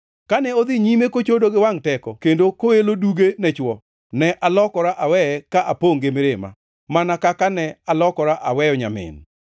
Kane odhi nyime kochodo gi wangʼ teko kendo koelo duge ne chwo, ne alokora aweye ka apongʼ gi mirima, mana kaka ne alokora aweyo nyamin.